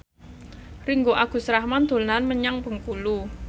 Ringgo Agus Rahman dolan menyang Bengkulu